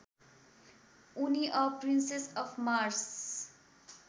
उनी a princess of Mars